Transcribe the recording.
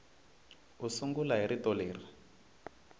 u sungula hi rito leri